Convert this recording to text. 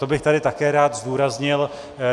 To bych tady také rád zdůraznil.